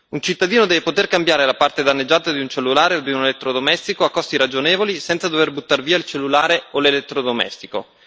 Un cittadino deve poter cambiare la parte danneggiata di un cellulare o di un elettrodomestico a costi ragionevoli, senza dover buttar via il cellulare o l'elettrodomestico.